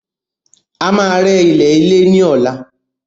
A máa rẹ́ ilẹ̀lẹ́ ni ọ̀la